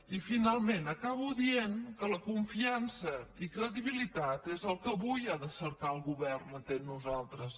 i finalment acabo dient que la confiança i credibilitat és el que avui ha de cercar el govern entre nosaltres